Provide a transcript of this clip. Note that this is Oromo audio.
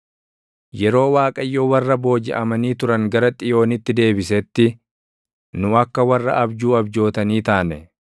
Yeroo Waaqayyo warra boojiʼamanii turan gara Xiyoonitti deebisetti, nu akka warra abjuu abjootanii taane.